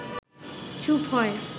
চুপ হয়